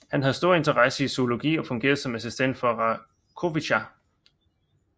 Han havde stor interesse i zoologi og fungerede som assistent for Racoviță